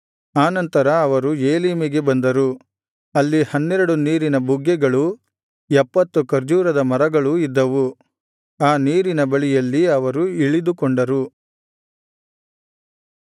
ಆ ನಂತರ ಅವರು ಏಲೀಮಿಗೆ ಬಂದರು ಅಲ್ಲಿ ಹನ್ನೆರಡು ನೀರಿನ ಬುಗ್ಗೆಗಳೂ ಎಪ್ಪತ್ತು ಖರ್ಜೂರದ ಮರಗಳೂ ಇದ್ದವು ಆ ನೀರಿನ ಬಳಿಯಲ್ಲಿ ಅವರು ಇಳಿದು ಕೊಂಡರು